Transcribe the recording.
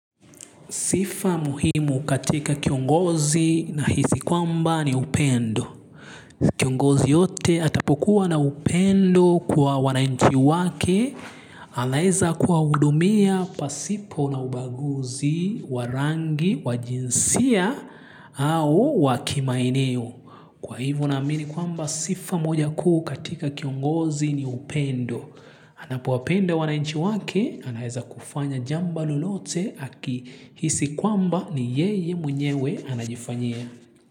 Sifa muhimu katika kiongozi, nahisi kwamba ni upendo. Kiongozi yeyote atapokuwa na upendo kwa wananchi wake. Anaweza kuwahudumia pasipo na ubaguzi wa rangi wa jinsia au wa kimaeneo. Kwa hivyo naamini kwamba sifa moja kuu katika kiongozi ni upendo. Anapowapenda wananchi wake, anaweza kufanya jambo lolote akihisi kwamba ni yeye mwenyewe anajifanyia.